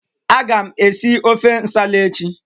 Agam esi ofe nsala echi.